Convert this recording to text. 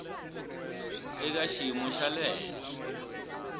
eka xiyimo xa le henhla